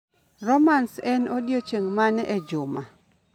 romance en odiechieng ' mane e juma